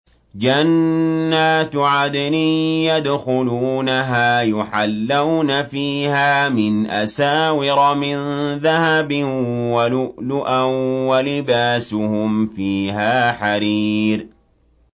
جَنَّاتُ عَدْنٍ يَدْخُلُونَهَا يُحَلَّوْنَ فِيهَا مِنْ أَسَاوِرَ مِن ذَهَبٍ وَلُؤْلُؤًا ۖ وَلِبَاسُهُمْ فِيهَا حَرِيرٌ